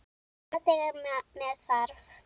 Svona þegar með þarf.